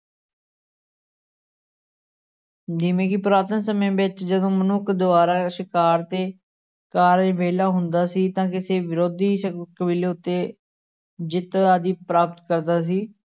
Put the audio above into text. ਜਿਵੇਂ ਕਿ ਪੁਰਾਤਨ ਸਮੇਂ ਵਿੱਚ ਜਦੋਂ ਮਨੁੱਖ ਦੁਆਰਾ ਸ਼ਿਕਾਰ ਤੇ ਕਾਰਜ ਵਿਹਲਾ ਹੁੰਦਾ ਸੀ ਤਾਂ ਕਿਸੇ ਵਿਰੋਧੀ ਕਬੀਲੇ ਉੱਤੇ ਜਿੱਤ ਆਦਿ ਪ੍ਰਾਪਤ ਕਰਦਾ ਸੀ।